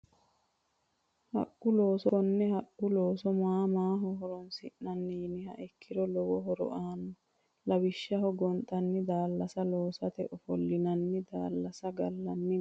Haqqu looso konne haqqu looso maa maaho horonsinani yiniha ikiro lowo horo aano lawishshsaho gonxani daalasa loosate ofolinani daalasa galNi mine.